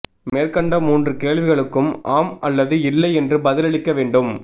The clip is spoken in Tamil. மேற்கண்ட மூன்று கேள்விகளுக்கும் ஆம் அல்லது இல்லை என்று பதிலளிக்க வேண்டும்